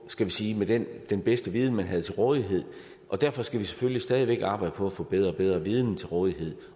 skal vi sige med den den bedste viden man havde til rådighed og derfor skal vi selvfølgelig stadig væk arbejde på at få bedre og bedre viden til rådighed